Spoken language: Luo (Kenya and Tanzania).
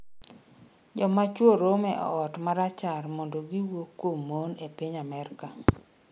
Joma chwo romo e ot ma rachar mondo ‘giwuo kuom mon’ e piny Amerka